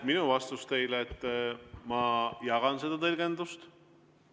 Minu vastus teile on, et ma jagan seda tõlgendust.